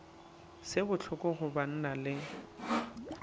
se bohloko go banna le